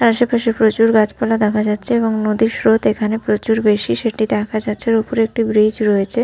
আশেপাশে প্রচুর গাছপালা দেখা যাচ্ছে এবং নদীর স্রোত এখানে প্রচুর বেশি সেটি দেখা যাচ্ছে আর ওপরে একটি ব্রীজ রয়েছে।